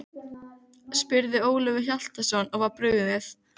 Andlit Braskarans skall á gluggakarminum í innanverðu stýrishúsinu.